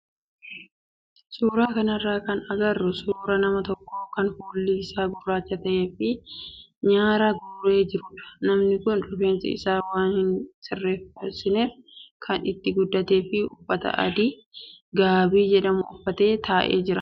Suuraa kanarraa kan agarru suuraa nama tokkoo kan fuuli isaa gurraacha ta'ee fi nyaara guuree jirudha. Namni kun rifeensa isaa waan hin sirreessineef kan itti guddatee fi uffata adii gaabii jedhamu uffatee taa'ee jira.